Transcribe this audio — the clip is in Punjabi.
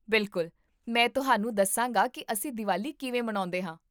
ਬਿਲਕੁਲ, ਮੈਂ ਤੁਹਾਨੂੰ ਦੱਸਾਂਗਾ ਕਿ ਅਸੀਂ ਦੀਵਾਲੀ ਕਿਵੇਂ ਮਨਾਉਂਦੇ ਹਾਂ